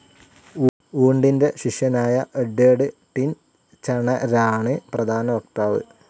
വൂൻഡിൻ്റെ ശിഷ്യനായ എഡ്വേർഡ് ടിൻചണരാണ് പ്രധാന വക്താവ്.